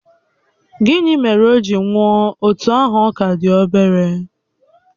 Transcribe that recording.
Gịnị mere o ji nwụọ otú ahụ ọ ka dị obere?